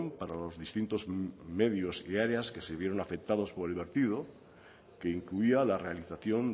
para los distintos medios y áreas que se vieron afectados por el vertido que incluía la realización